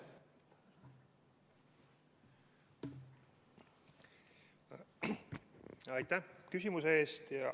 Aitäh küsimuse eest!